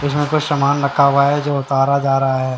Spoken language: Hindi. चीजों पर सामान रखा हुआ है जो उतारा जा रहा है।